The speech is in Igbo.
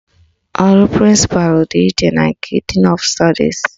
Ọrụ prịnsịpalụ dị iche na nke din ọf stọdis